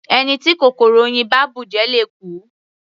Ẹni tí kòkòrò oyin bá bùjẹ le kú.